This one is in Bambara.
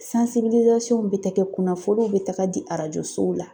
bɛ taa kɛ kunnafoniw bɛ taga di arajo sow la.